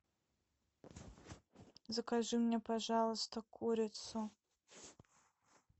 закажи мне пожалуйста курицу